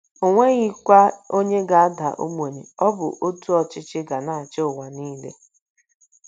O nweghịkwa onye ga - ada ogbenye. Ọ bụ otu ọchịchị ga na - achị ụwa niile.